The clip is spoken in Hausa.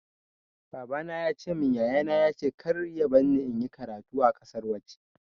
Baba na ya ce min yaya na ya ce kar ya barni in yi karatu a ƙasan waje.